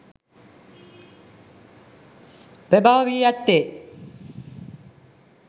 ප්‍රභව වී ඇත්තේ